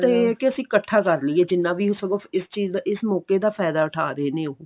ਇਹ ਆ ਕੀ ਅਸੀਂ ਇਕੱਠਾ ਕਰ ਲਈਏ ਜਿੰਨਾ ਵੀ ਸਗੋਂ ਇਸ ਚੀਜ਼ ਦਾ ਇਸ ਮੋਕੇ ਦਾ ਫਾਇਦਾ ਉਠਾ ਰਹੇ ਨੇ ਉਹ